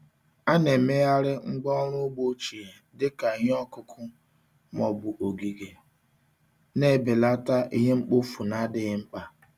A na-emegharị ngwá ọrụ ugbo ochie dị ka ihe ọkụkụ ma ọ bụ ogige, na-ebelata ihe mkpofu na-adịghị mkpa.